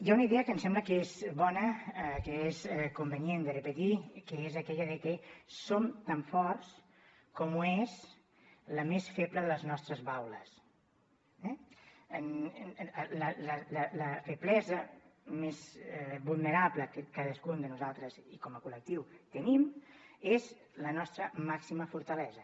hi ha una idea que em sembla que és bona que és convenient de repetir que és aquella de que som tan forts com ho és la més feble de les nostres baules eh la feblesa més vulnerable que cadascun de nosaltres i com a col·lectiu tenim és la nostra màxima fortalesa